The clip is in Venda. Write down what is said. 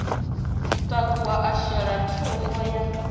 takuwa a tsela thungo ya